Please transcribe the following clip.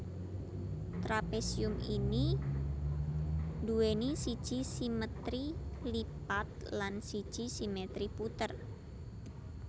Trapésium ini nduwèni siji simètri lipat lan siji simètri puter